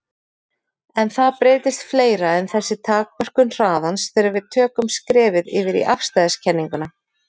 En það breytist fleira en þessi takmörkun hraðans þegar við tökum skrefið yfir í afstæðiskenninguna.